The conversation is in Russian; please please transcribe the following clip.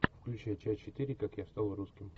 включай часть четыре как я стал русским